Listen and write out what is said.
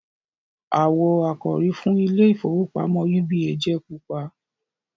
awọ àkòrí fún ìIlé ìfowópamọ́ UBA jẹ pupa.